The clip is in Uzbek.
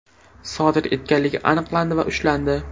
sodir etganligi aniqlandi va ushlandi.